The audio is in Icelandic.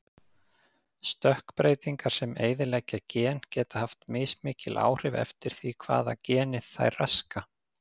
Stökkbreytingar sem eyðileggja gen geta haft mismikil áhrif eftir því hvaða geni þær raska.